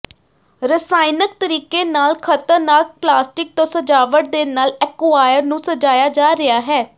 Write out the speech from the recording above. ਰਸਾਇਣਕ ਤਰੀਕੇ ਨਾਲ ਖਤਰਨਾਕ ਪਲਾਸਟਿਕ ਤੋਂ ਸਜਾਵਟ ਦੇ ਨਾਲ ਐਕੁਆਇਰ ਨੂੰ ਸਜਾਇਆ ਜਾ ਰਿਹਾ ਹੈ